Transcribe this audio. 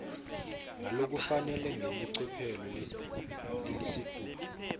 ngalokufanele ngelicophelo lelisetulu